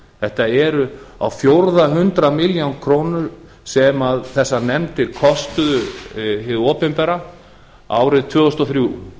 þetta eru á fjórða hundrað milljónir króna sem þessar nefndir kostuðu hið opinbera árið tvö þúsund og þrjú